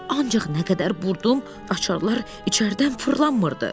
Ancaq nə qədərlə burdum, açarlar içəridən fırlanmırdı.